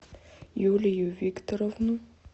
юлию викторовну